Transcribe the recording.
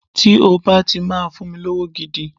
Tí o bá ti máa fún mi lówó gidi